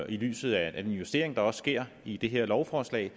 i lyset af den justering der også sker i det her lovforslag